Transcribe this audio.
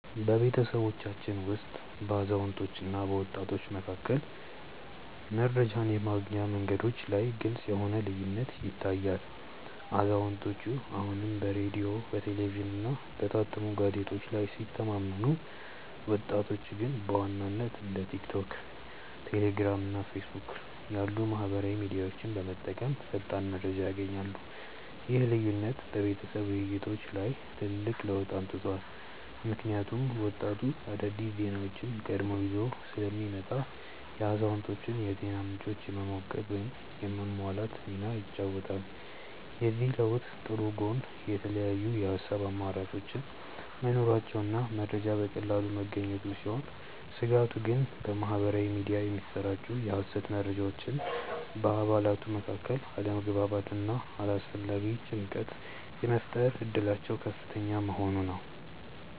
በቤተሰባችን ውስጥ በአዛውንቶችና በወጣቶች መካከል መረጃን የማግኛ መንገዶች ላይ ግልጽ የሆነ ልዩነት ይታያል፤ አዛውንቶቹ አሁንም በሬዲዮ፣ በቴሌቪዥንና በታተሙ ጋዜጦች ላይ ሲተማመኑ፣ ወጣቶቹ ግን በዋናነት እንደ ቲክቶክ፣ ቴሌግራም እና ፌስቡክ ያሉ ማኅበራዊ ሚዲያዎችን በመጠቀም ፈጣን መረጃ ያገኛሉ። ይህ ልዩነት በቤተሰብ ውይይቶች ላይ ትልቅ ለውጥ አምጥቷል፤ ምክንያቱም ወጣቱ አዳዲስ ዜናዎችን ቀድሞ ይዞ ስለሚመጣ የአዛውንቶቹን የዜና ምንጮች የመሞገት ወይም የማሟላት ሚና ይጫወታል። የዚህ ለውጥ ጥሩ ጎን የተለያዩ የሐሳብ አማራጮች መኖራቸውና መረጃ በቀላሉ መገኘቱ ሲሆን፣ ስጋቱ ግን በማኅበራዊ ሚዲያ የሚሰራጩ የሐሰተኛ መረጃዎች በአባላቱ መካከል አለመግባባትና አላስፈላጊ ጭንቀት የመፍጠር እድላቸው ከፍተኛ መሆኑ ነው።